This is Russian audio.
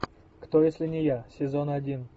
кто если не я сезон один